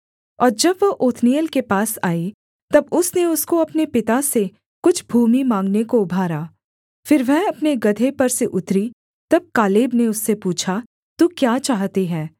और जब वह ओत्नीएल के पास आई तब उसने उसको अपने पिता से कुछ भूमि माँगने को उभारा फिर वह अपने गदहे पर से उतरी तब कालेब ने उससे पूछा तू क्या चाहती है